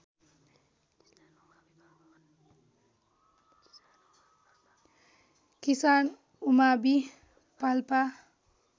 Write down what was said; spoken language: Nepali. किसान उमावि पाल्पा